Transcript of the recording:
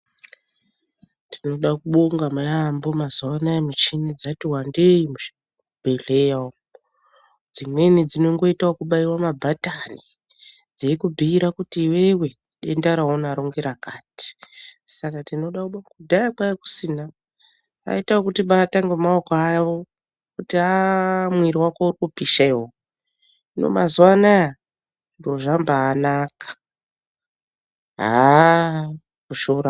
Tinoda kubonga yambo mazuwana muchini yatiwandei muzvibhehlera umwo dzimweni dzinongoita kubaiwa mabhatani dzeikubhuira kuti iwewe denda raunaro ngerakati saka tinoda kubonga kudhaya kwaikusina vaita kutibata ngemaoko avo vokubhuira kuti aaah mwiri wako uri kupisha iwewe hino mazuwanaya zviro zvabanaka aaah kushora .